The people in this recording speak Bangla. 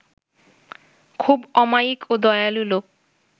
খুব অমায়িক ও দয়ালু লোক